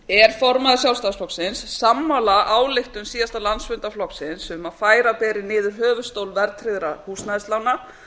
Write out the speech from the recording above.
er formaður sjálfstæðisflokksins sammála ályktun síðasta landsfundar flokksins um að færa beri niður höfuðstól verðtryggðra húsnæðislána